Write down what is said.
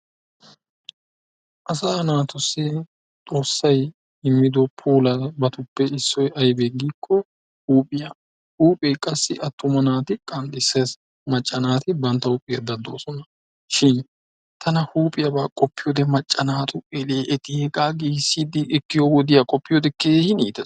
Asa naatussi Xoossay immido puulabatuppe issoy aybbe giyaaba giiko huuphiyaa. Huuphe qassi attuma naati qanxxissees, macca naati bantta huuphiyaa daddoosona. Shin tana huuphiyaaba qopiyoode macca naatu elee eti hegaa giigissidi ekkiyo wodiyaa qopiyoode keehin iittees.